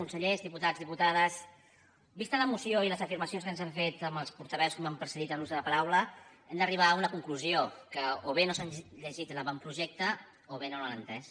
consellers diputats diputades vistes la moció i les afirmacions que s’han fet pels portaveus que m’han precedit en l’ús de la paraula hem d’arribar a una conclusió que o bé no s’han llegit l’avantprojecte o bé no l’han entès